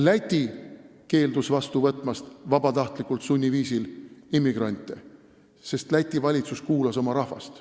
Läti keeldus vastu võtmast vabatahtlikult sunniviisil immigrante, sest Läti valitsus kuulas oma rahvast.